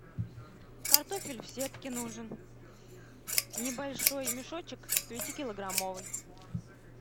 картофель в сетке нужен небольшой мешочек пятикилограммовый